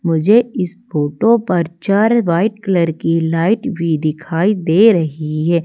मुझे इस फोटो पर चार व्हाइट कलर की लाइट भी दिखाई दे रही है।